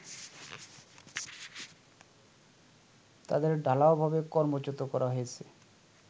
তাদের ঢালাওভাবে কর্মচ্যুত করা হয়েছে